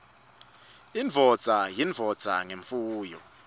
indvodza yindvodza ngemfuyo